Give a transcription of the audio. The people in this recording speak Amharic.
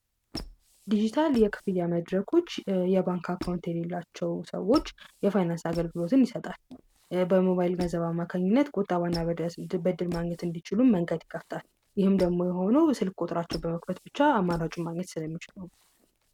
ዲጂታል የክፍት ያመድረኮች የባንካ ካውንት የሌላቸው ሰዎች የፋይናንሳ አገልግሎትን ይሰጣል። በሞባይል ገዘባ ማከኝነት ቆጣ ዋና በድር ማግኘት እንዲችሉን መንገት ይከፍታል። ይህም ደግሞ የሆነ ስልክ ቆጥራቸው በመክበት ብቻ አማናጩ ማግኘት ስለሚችሉም ነው።